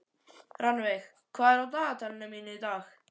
Rannveig, hvað er á dagatalinu í dag?